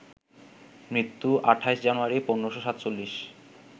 মৃত্যুঃ ২৮ জানুয়ারি, ১৫৪৭